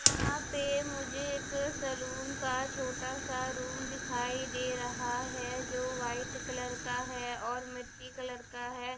यहाँ पे मुझे एक सलून का छोटा सा रूम दिखाई दे रहा है जो वाइट कलर का है और मिट्टी कलर का है।